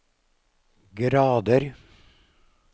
grader